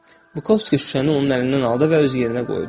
Bukovski şüşəni onun əlindən aldı və öz yerinə qoydu.